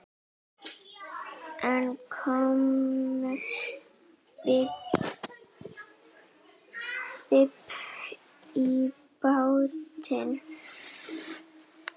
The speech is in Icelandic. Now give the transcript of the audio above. En kom babb í bátinn.